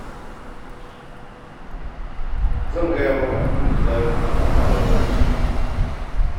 Zan gaya maka abin da za mu yi domin haɓaka harshen Hausa.